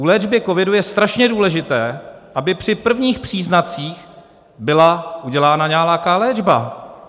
U léčby covidu je strašně důležité, aby při prvních příznacích byla udělána nějaká léčba.